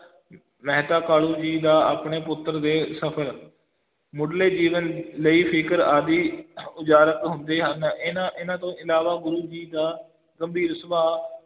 ਮਹਿਤਾ ਕਾਲੂ ਜੀ ਦਾ ਆਪਣੇ ਪੁੱਤਰ ਦੇ ਸਫ਼ਲ ਮੁਢਲੇ ਜੀਵਨ ਲਈ ਫ਼ਿਕਰ ਆਦਿ ਉਜਾਗਰ ਹੁੰਦੇ ਹਨ, ਇਹਨਾਂ ਇਹਨਾਂ ਤੋਂ ਇਲਾਵਾ ਗੁਰੂ ਜੀ ਦਾ ਗੰਭੀਰ ਸੁਭਾਅ,